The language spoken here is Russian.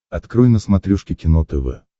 открой на смотрешке кино тв